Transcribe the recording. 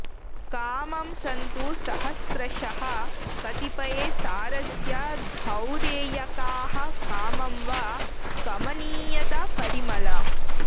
कामं सन्तु सहस्रशः कतिपये सारस्य धौरेयकाः कामं वा कमनीयता परिमल